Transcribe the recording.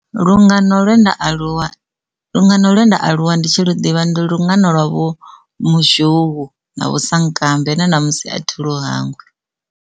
Lungano ḽienda aluwa lungano ḽienda aluwa ndi tshi ḓo ḓivha ndi lungana lwa vho muzhou na vho sankambe na namusi a thi lu hangwi.